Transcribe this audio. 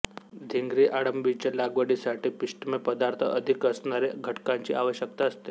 धिंगरी अळंबीच्या लागवडीसाठी पिष्ठमय पदार्थ अधिक असणारी घटकांची आवश्यकता असते